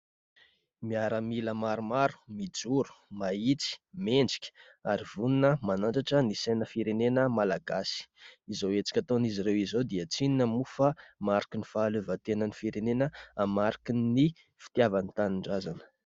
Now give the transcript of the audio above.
Miaramila maromaro, mijoro, mahitsy, mendrika ary vonona ; manandratra ny saina firenena Malagasy. Izao hetsika ataon'izy ireo izao dia tsy inona moa fa marikin'ny fahaleovantenan'ny firenena ; marikin'ny fitiavany tanindrazana.